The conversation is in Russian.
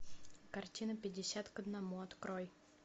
картина пятьдесят к одному открой